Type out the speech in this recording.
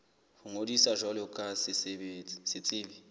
ho ngodisa jwalo ka setsebi